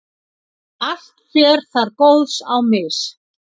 allt fer þar góðs á mis.